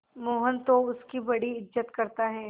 मोहन तो उसकी बड़ी इज्जत करता है